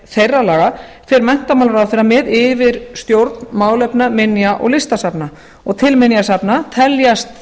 þeirra laga fer menntamálaráðherra með yfirstjórn málefna minja og listasafna til minjasafna teljast